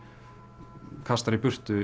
kastar í burtu